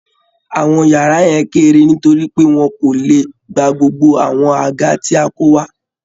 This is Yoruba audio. Àwọn yàrá yẹn kéré nítorí pé wọ́n kò lè gba gbogbo àwọn àga tí a kó wá